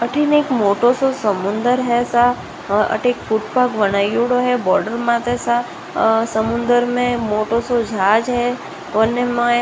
अठेन एक मोटो सो समुन्दर है अटे एक फूटपाथ बनाइडॉ है बोर्ड माँत सा समुन्दर में मोटो सो जहाज़ है उन मा --